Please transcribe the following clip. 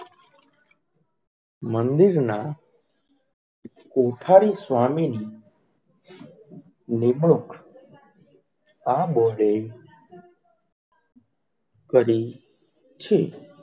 મંદિર ના કૌઠાલ સ્વામીની નિમણૂક આ બોર્ડ એ કરી છે.